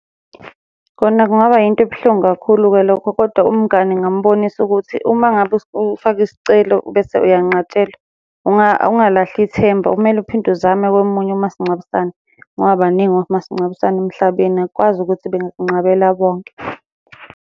Khona kungaba yinto ebuhlungu kakhulu-ke lokho, kodwa umngani ngingamubonisa ukuthi uma ngabe ufake isicelo bese uyanqatshelwa, ungalahli ithemba kumele uphinde uzame komunye umasingcwabisane, ngoba baningi omasingcwabisane emhlabeni akukwazi ukuthi bengakunqabela bonke.